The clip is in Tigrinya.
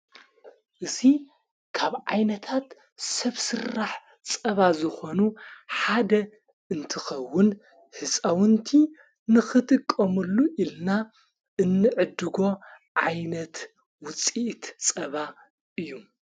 እዙይ ካብ ዓይነታት ሰብ ሥራሕ ጸባ ዘኾኑ ሓደ እንትኸውን ሕፃውንቲ ንኽትቀሙሉ ኢልና እንዕድጎ ዓይነት ውፂእት ጸባ እዩ::